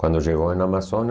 Quando chegou em no Amazonas.